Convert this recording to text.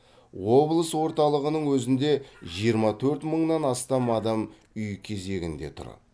облыс орталығының өзінде жиырма төрт мыңнан астам адам үй кезегінде тұр